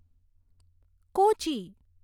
Kochi